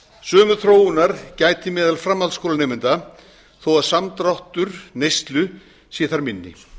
sömu þróunar gætir meðal framhaldsskólanemenda þó að samdráttur neyslu sé þar minni